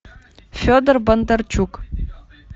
федор бондарчук